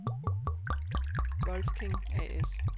Wolfking A/S